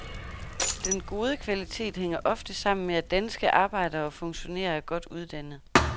Den gode kvalitet hænger ofte sammen med, at danske arbejdere og funktionærer er godt uddannet.